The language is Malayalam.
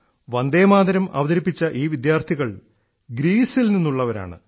വന്ദേമാതരം അവതരിപ്പിച്ച ഈ വിദ്യാർത്ഥികൾ ഗ്രീസിൽ നിന്നുള്ളവരാണ്